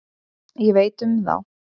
Ég veit um þá.